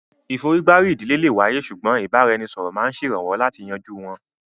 ìforígbárí ìdílé lè wáyé ṣùgbọ́n ìbára-ẹni-sọ̀rọ̀ máa ń ṣèrànwọ́ láti yanjú wọn